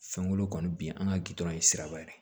Fɛnkolo kɔni bi an ka gindo ye siraba ye